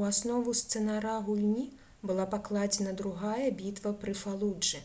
у аснову сцэнара гульні была пакладзена другая бітва пры фалуджы